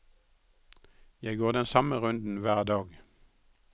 Jeg går den samme runden hver dag.